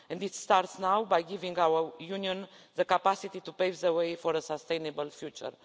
come. It starts now by giving our Union the capacity to pave the way for a sustainable